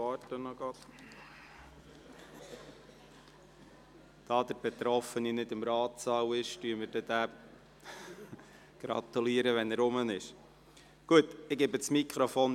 Da der Betroffene gegenwärtig nicht im Ratssaal ist, gratulieren wir ihm später.